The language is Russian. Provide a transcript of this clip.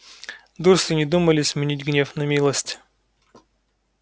дурсли не думали сменить гнев на милость